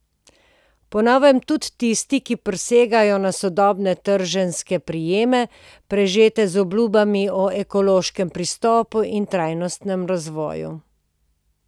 Po novem tudi tisti, ki prisegajo na sodobne trženjske prijeme, prežete z obljubami o ekološkem pristopu in trajnostnem razvoju.